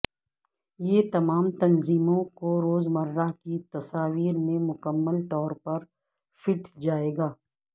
یہ تمام تنظیموں کو روزمرہ کی تصاویر میں مکمل طور پر فٹ جائے گا